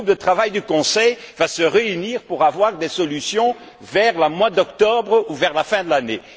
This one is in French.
Ce groupe de travail du Conseil va se réunir pour avancer des solutions vers le mois d'octobre ou vers la fin de l'année.